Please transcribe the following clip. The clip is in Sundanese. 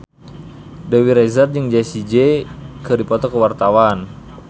Dewi Rezer jeung Jessie J keur dipoto ku wartawan